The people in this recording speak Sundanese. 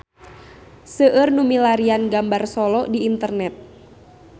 Seueur nu milarian gambar Solo di internet